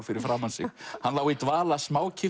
fyrir framan sig hann lá í dvala